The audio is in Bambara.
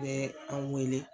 I bɛ an weele